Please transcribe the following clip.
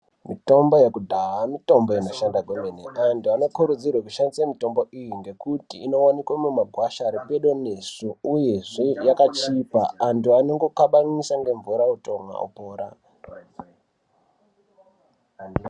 Mitombo yekudhaya mitombo inoshanda kwemene antu anokurudzirwe kushandisa mitombo iyi ngekuti inowanikwe mumagwasha ari pedo nesu uyezve yakachipa antu anongokabanisa ngemvura otomwa.